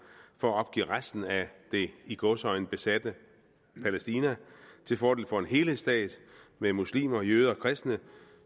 for at opgive resten af det i gåseøjne besatte palæstina til fordel for en helhedsstat med muslimer jøder og kristne